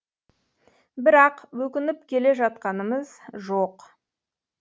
бірақ өкініп келе жатқанымыз жоқ